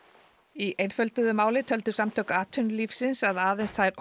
í einfölduðu máli töldu Samtök atvinnulífsins að aðeins þær